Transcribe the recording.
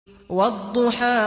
وَالضُّحَىٰ